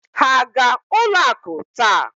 Ha aga-ụlọ akụ taa?